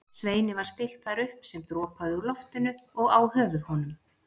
Sveini var stillt þar upp sem dropaði úr loftinu og á höfuð honum.